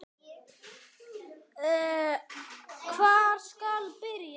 Hvar skal byrja?